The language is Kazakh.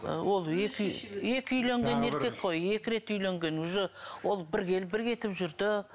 ол екі екі үйленген еркек қой екі рет үйленген уже ол бір келіп бір кетіп жүрді